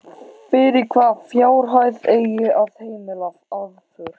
Fyrir hvaða fjárhæð eigi að heimila aðför?